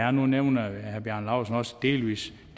og nu nævner herre bjarne laustsen også delvis